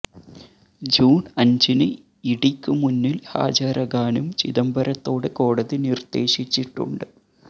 June അഞ്ചിന് E ഡിക്കു മുന്നില് ഹാജരാകാനും ചിദംബരത്തോട് കോടതി നിര്ദേശിച്ചിട്ടുണ്ട്